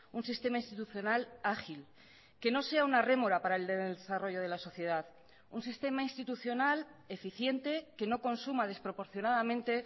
un sistema institucional ágil que no sea una rémora para el desarrollo de la sociedad un sistema institucional eficiente que no consuma desproporcionadamente